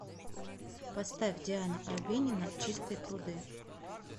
поставь диана арбенина чистые пруды